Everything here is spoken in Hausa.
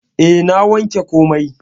E, na wanke komai.